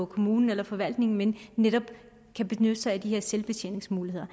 kommunen eller forvaltningen men netop kan benytte sig af de her selvbetjeningsmuligheder